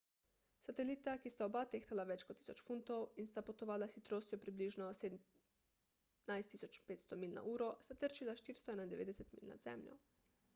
satelita ki sta oba tehtala več kot 1000 funtov in sta potovala s hitrostjo približno 17.500 milj na uro sta trčila 491 milj nad zemljo